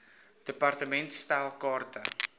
department stel kaarte